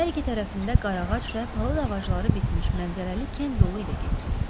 Hər iki tərəfində qaraağac və palıd ağacları bitmiş mənzərəli kənd yolu ilə getdik.